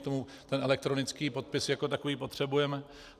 K tomu ten elektronický podpis jako takový potřebujeme.